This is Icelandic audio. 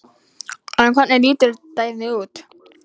En hvernig lítur dæmið út?